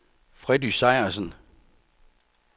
Freddy Sejersen